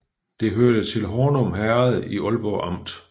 Det hørte til Hornum Herred i Ålborg Amt